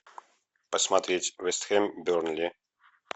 посмотреть вест хэм бернли